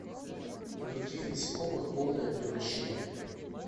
у каких насекомых полное превращение